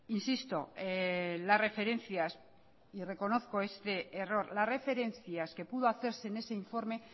reconozco este error e insisto que las referencias que pudo hacerse en ese informe